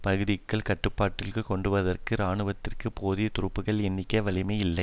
பகுதிகளை கட்டுப்பாட்டிற்குள் கொண்டுவருவதற்கு இராணுவத்திற்கு போதிய துருப்புக்கள் எண்ணிக்கை வலிமை இல்லை